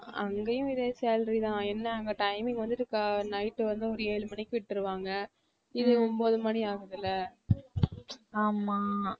அங்கேயும் இதே salary தான் என்ன அங்க timing வந்துட்டு night வந்து ஒரு ஏழு மணிக்கு விட்டுருவாங்க இது ஒன்பது மணி ஆகுதுல்ல